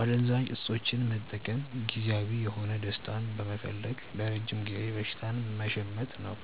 አደንዛዥ እፆችን መጠቀም ጊዜያዊ የሆነ ደስታን በመፈለግ ለረጅም ጊዜ በሽታን መሸመት ነው።